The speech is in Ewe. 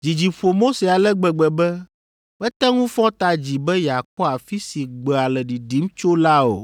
Dzidzi ƒo Mose ale gbegbe be mete ŋu fɔ ta dzi be yeakpɔ afi si gbea le ɖiɖim tso la o.